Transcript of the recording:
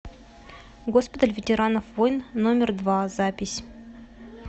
госпиталь ветеранов войн номер два запись